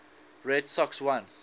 red sox won